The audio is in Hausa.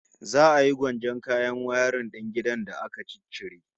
Za a yi gwanjon kayan wayarin din gidan da aka ciccire